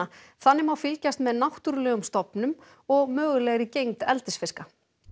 þannig má fylgjast með náttúrulegum stofnum og mögulegri gengd eldisfiska